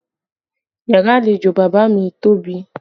Yàrá àlejò bàbá mi tóbi